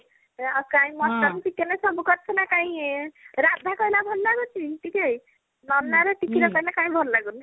ଆଉ କାଇଁ mutton chicken ସବୁ କରିଥିଲା କାଇଁ ରାଧା କହିଲା ଭଲ ଲାଗୁଛି ଟିକେ ନନା ର ଟିକି ର କହିଲେ କାଇଁ ଭଲ ଲାଗୁନି